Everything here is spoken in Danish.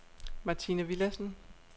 Martine Willadsen